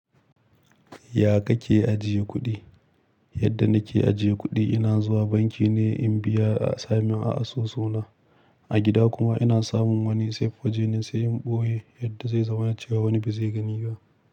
Ya kake ajiye kuɗi? Yadda nake ajiye kuɗi, ina zuwa banki ne in biya a samin a'a so so na. A gida kuma ina samun wani safe wajene sai in ɓoye yadda zai zama cewa wani ba zai gani ba.